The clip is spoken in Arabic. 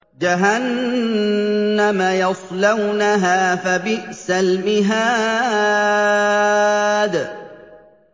جَهَنَّمَ يَصْلَوْنَهَا فَبِئْسَ الْمِهَادُ